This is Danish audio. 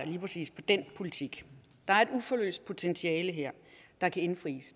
lige præcis den politik der er et uforløst potentiale her der kan indfris